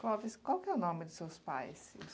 Clóvis, qual é o nome dos seus pais e